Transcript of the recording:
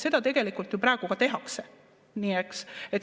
Seda tegelikult ju praegu ka tehakse.